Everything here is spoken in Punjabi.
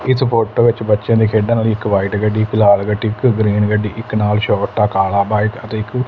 ਇੱਸ ਫ਼ੋਟੋ ਵਿੱਚ ਬੱਚਿਆਂ ਦੇ ਖੇਡਨ ਲਈ ਇੱਕ ਵ੍ਹਾਈਟ ਗੱਡੀ ਇੱਕ ਲਾਲ ਗੱਡੀ ਇੱਕ ਗਰੀਨ ਗੱਡੀ ਤੇ ਇੱਕ ਨਾਲ ਛੋਟਾ ਕਾਲਾ ਬਾਇਕ ਅਤੇ ਇੱਕ --